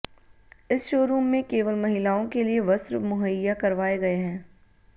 इस शोरूम में केवल महिलाओं के लिए वस्त्र मुहैया करवाए गए हैं